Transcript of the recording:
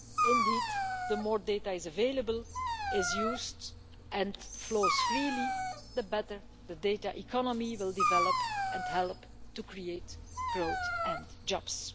Indeed, the more the data available is used and flows freely, the better the data economy will develop and help to create growth and jobs.